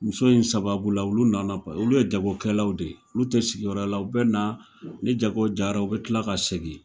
Muso in sababu la olu nana pa olu ye jagokɛlaw de, olu tɛ sigi yɔrɔ la u bɛ na, ni jago jara u bɛ tila ka segin.